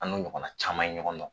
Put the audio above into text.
An n'o ɲɔgɔnna caman in ɲɔgɔn dɔn